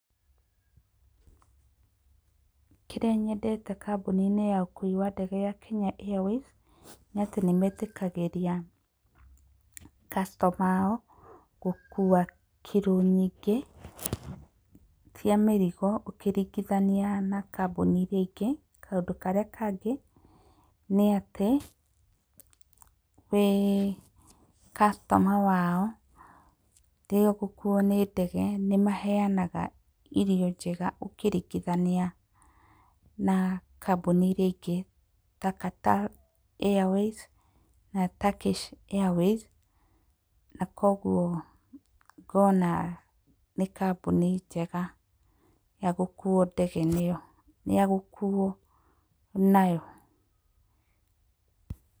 Kĩrĩa nyendete kambuni-inĩ ya ũkuui wa ndege ya Kenya Airways nĩ atĩ nĩ metĩkagĩria customer ao gũkua kiro nyingĩ cia mĩrigo ũkĩringithania na kambuni irĩa ingĩ. Kaũndũ karĩa kangĩ nĩ atĩ wĩ customer wao nĩ maheanaga irio njega ũkĩringithania na kambuni irĩa ingĩ ta Qatar Airways na Turkish Airways. Na kwoguo ngona nĩ kambuni njega ya gũkuo ndege nayo ya gũkuo nayo.